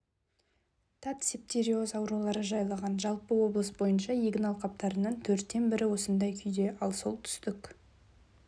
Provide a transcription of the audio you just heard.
тат септериоз аурулары жайлаған жалпы облыс бойынша егін алқаптарының төрттен бірі осындай күйде ал солтүстік